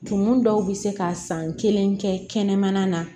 Tumu dɔw bɛ se ka san kelen kɛ kɛnɛmana na